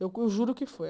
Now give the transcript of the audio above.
Eu juro que foi.